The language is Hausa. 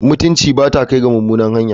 Mutunci ba ta kai ga mummuna hanya.